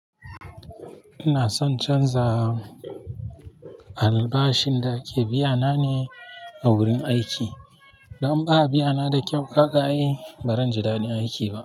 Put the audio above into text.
Ina son canza albashin da ake biya na ne a wurin aiki. Don ba a biya na da kyau ka akai, bari in ji daɗin aiki ba.